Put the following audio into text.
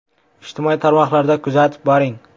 Ijtimoiy tarmoqlarda kuzatib boring!